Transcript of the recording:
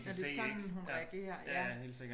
Nåh det er sådan hun reagerer ja